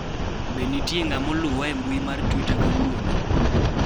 be nitie ng'ama oluwa e mbiui mar twita kawuono